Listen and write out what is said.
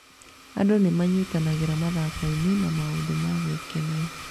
Andũ nĩ manyitanagĩra mathako-inĩ na maũndũ ma gwĩkenia.